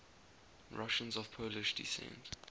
russians of polish descent